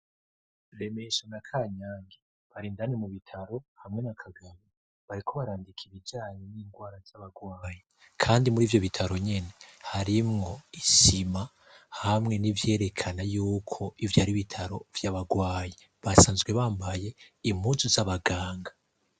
Remesho na Kanyange bari indani mu bitaro hamwe na Kagabi, bariko barandika ibijanye n'indwara z'abagwayi kandi muri ivyo bitaro nyene harimwo isima hamwe n'ivyerekana yuko ivyo ari bitaro vy'abagwayi basanzwe bambaye impuzu z'abaganga.